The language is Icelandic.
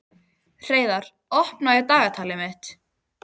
Hreiðar, opnaðu dagatalið mitt.